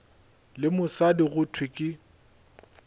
le mosadi go thwe ke